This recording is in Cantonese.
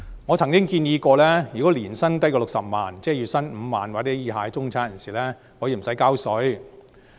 我曾建議，如果市民年薪低於60萬元——即月薪5萬元或以下的中產人士——可以不用繳稅。